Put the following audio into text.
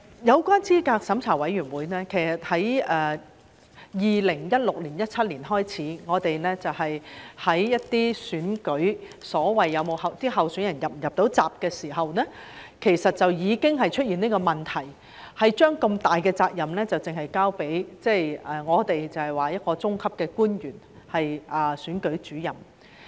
有關資審會方面，其實在2016年、2017年開始，在一些選舉中就所謂候選人能否"入閘"上，已經出現這個問題，把如此重大的責任只交給一個中級的官員，就是選舉主任。